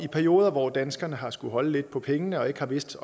perioder hvor danskerne har skullet holde lidt på pengene og ikke har vidst